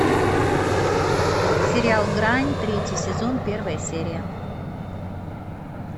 сериал грань третий сезон первая серия